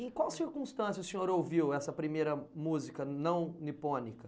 Em qual circunstância o senhor ouviu essa primeira música não nipônica?